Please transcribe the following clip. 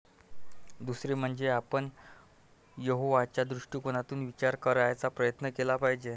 दुसरे म्हणजे आपण यहोवाच्या दृष्टिकोनातून विचार करायचा प्रयत्न केला पाहिजे.